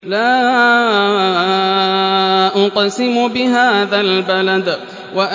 لَا أُقْسِمُ بِهَٰذَا الْبَلَدِ